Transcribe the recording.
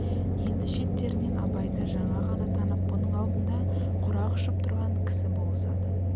енді шеттерінен абайды жаңа ғана танып бұның алдында құрақ ұшып тұрған кісі болысады